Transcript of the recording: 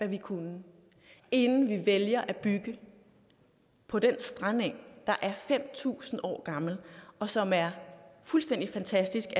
vi kunne inden vi vælger at bygge på den strandeng der er fem tusind år gammel og som er fuldstændig fantastisk